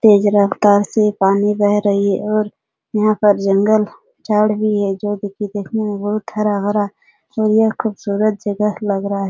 तेज रफ्तार से पानी बह रही और यहां पर जंगल झाड़ भी है जो की देखने में बहुत हरा-भरा और यह खूबसूरत जगह लग रहा है।